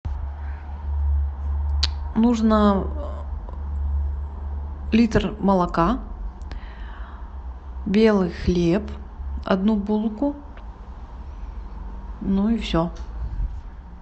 нужно литр молока белый хлеб одну булку ну и все